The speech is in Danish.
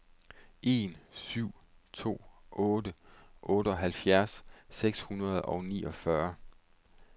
en syv to otte otteoghalvfjerds seks hundrede og niogfyrre